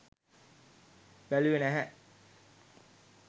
බැලුවේ නැහැ